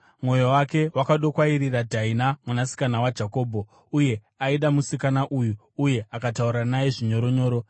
Mwoyo wake wakadokwairira Dhaina mwanasikana waJakobho, uye aida musikana uyu, uye akataura naye zvinyoronyoro.